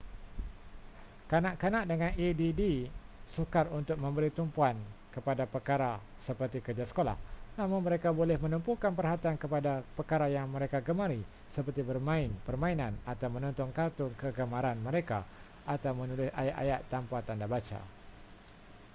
kanak-kanak dengan add sukar untuk memberi tumpuan kepada perkara seperti kerja sekolah namun mereka boleh menumpukan perhatian kepada perkara yang mereka gemari seperti bermain permainan atau menonton kartun kegemaran mereka atau menulis ayat-ayat tanpa tanda baca